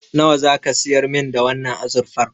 Nawa zaka siyar min da wannan azurfar?